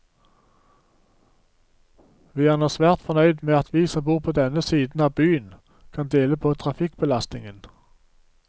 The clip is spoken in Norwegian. Vi er nå svært fornøyd med at vi som bor på denne siden av byen, kan dele på trafikkbelastningen.